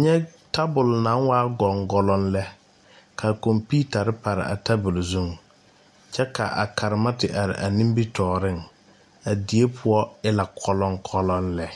nyɛ tabol naŋ waa goŋgoloŋ lɛ ka computers pare a tabol zu kyɛ ka a karema te be tɔɔreŋ a die poɔ e la gɔloŋgɔloŋ lɛ.